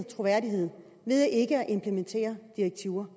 troværdighed ved ikke at implementere direktiver